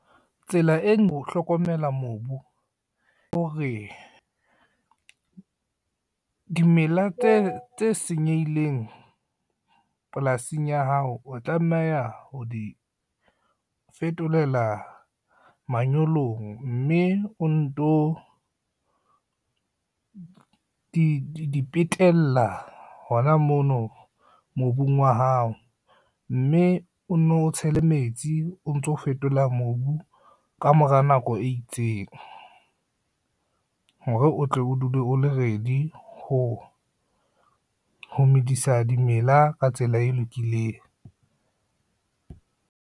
Tsela o hlokomela mobu ko hore, dimela tse senyehileng, polasing ya hao o tlameha ho di fetolela manyolong mme o nto, di petela hona mono mobung wa hao, mme o no tshele metsi o ntso fetola mobu ka mora nako e itseng, hore o tle o dule o le ready ho medisa dimela ka tsela e lokileng.